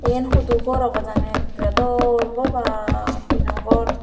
iyen hudu ghor obo jani ekkere dol bogoban tino ghor.